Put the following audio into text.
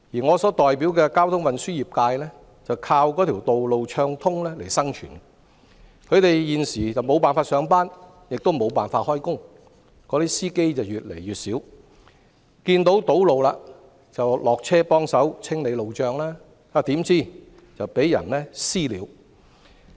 我所代表的交通運輸業界靠道路暢通生存，他們現時無法上班亦無法工作，司機越來越少，遇上堵路下車幫忙清理路障，豈料卻遭"私了"。